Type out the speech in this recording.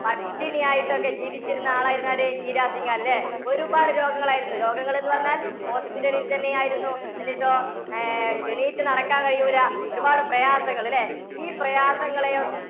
പട്ടിണി ആയിട്ടൊക്കെ ജീവിച്ചിരുന്ന ആളായിരുന്നു ആര്? ഈരാ സിഘാള്‍ ല്ലേ? ഒരുപാട് രോഗങ്ങളായിരുന്നു. രോഗങ്ങളെന്നുപറഞ്ഞാല്‍ hospital ല്‍ തന്നെ ആയിരുന്നു. എന്നിട്ടോ അഹ് എണീറ്റ്‌ നടക്കാന്‍ കഴിയൂല ഒരുപാട് പ്രയാസങ്ങള് ല്ലേ? ഈ പ്രയാസങ്ങളെയൊ~